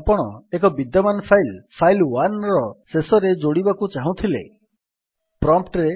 ଏବେ ଆପଣ ଏକ ବିଦ୍ୟମାନ ଫାଇଲ୍ file1ର ଶେଷରେ ଯୋଡ଼ିବାକୁ ଚାହୁଁଥିଲେ ପ୍ରମ୍ପ୍ଟ୍ ରେ